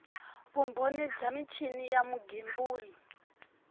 vumbhoni bya michini ya vugembuli